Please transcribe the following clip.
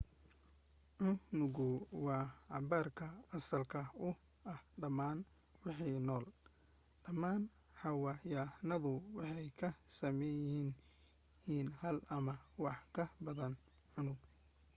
unugu waa cabbirka asalka u ah dhammaan wixii nool dhammaan xayawaanaduna waxay ka sameysan yihiin hal ama wax ka badan oo unug